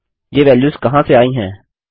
ये वेल्यूस कहाँ से आयी हैं